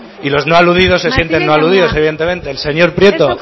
y los no aludidos se sienten no aludidos evidentemente el señor prieto